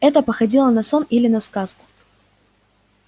это походило на сон или на сказку